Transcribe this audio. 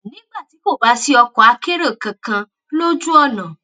nígbà tí kò bá sí ọkọ akérò kankan lójú ònà